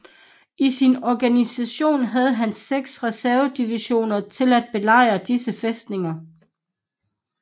I sin organisation havde han seks reservedivisioner til at belejre disse fæstninger